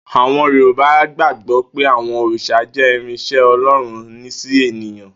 Àwo̩n Yorùbá gbàgbó̩ pé àwo̩n òrìs̩à jé̩ ìráns̩é̩ O̩ló̩run sí ènìyan